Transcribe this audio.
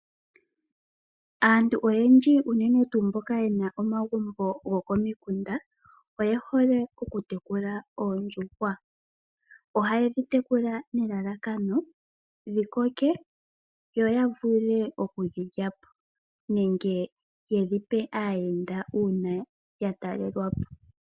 Aantu oyendji unene tuu mbika yena omagumbo go ko mikunda oye hole oku tekula oondjuhwa. Ohaye dhi tekula nelalakano dhi koke yo ya vule oku dhi lya po nenge yedhi pe aayenda, uuna ya talelwa po.